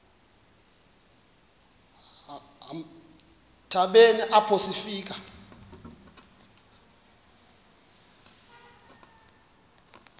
hambeni apho sifika